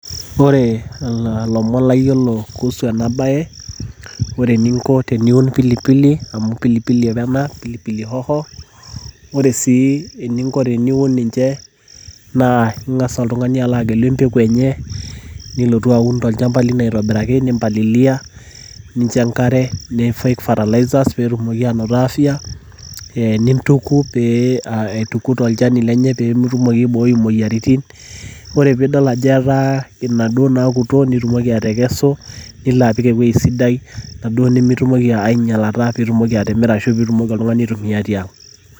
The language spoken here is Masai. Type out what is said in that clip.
Ore ilomon layiolo kuhusu ena baye ore eninko teniun pilipili amu pilipili apa ena ,pilipili hoho ore sii eninko teniun ninche naa ing'as oltung'ani alo agelu empeku enye nilotu aun tolchamba lino aitobiraki nimpalilia nincho enkare nipik fertilizers peetumoki aanoto afya ee nintuku pee ,aituku tolchani lenye pee peibooyo imoyiaritin ore peidol ajo etaa inaduoo naakuto nitumoki atekesu lino apik ewueji sidai inaduo nemetumoki ainyialata peeitumoku atimira ashuu piitumoki oltung'ani aitumia tiang.